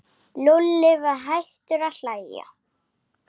Lúlli var hættur að hlæja.